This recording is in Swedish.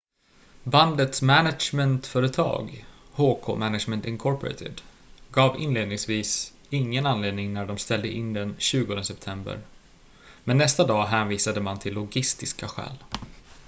bandets management-företag hk management inc gav inledningsvis ingen anledning när de ställde in den 20 september men nästa dag hänvisade man till logistiska skäl